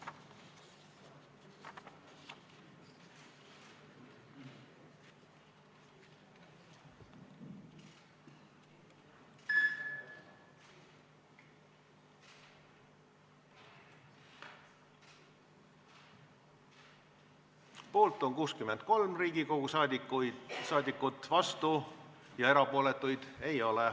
Hääletustulemused Poolt on 63 Riigikogu liiget, vastuolijaid ja erapooletuid ei ole.